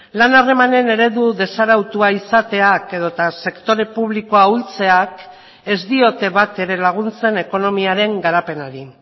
lan harremanen eredu desarautua izateak edota sektore publikoa ahultzeak ez diote bat ere laguntzen ekonomiaren garapenari